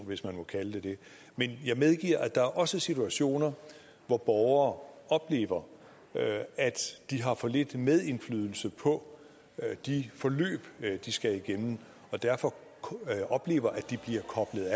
hvis man må kalde det det men jeg medgiver at der også er situationer hvor borgere oplever at de har for lidt indflydelse på de forløb de skal igennem og derfor oplever at de bliver koblet